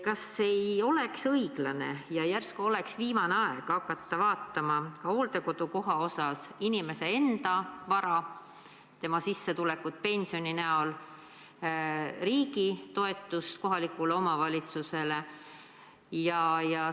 Kas ei oleks õiglane ja ehk ka viimane aeg hakata hooldekodukoha puhul üle vaatama inimese enda vara, tema sissetulekut pensioni näol, samuti riigi toetust kohalikule omavalitsusele?